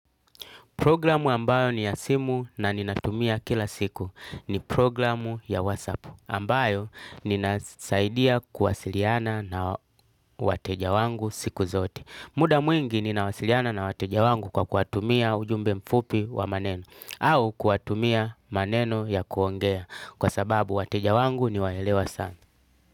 Programu ambayo ni ya simu na ninatumia kila siku ni programu ya WhatsApp ambayo ninasaidia kuwasiliana na wateja wangu siku zote. Muda mwingi ninawasiliana na wateja wangu kwa kuwatumia ujumbe mfupi wa maneno au kuwatumia maneno ya kuongea kwa sababu wateja wangu ni waelewa sana.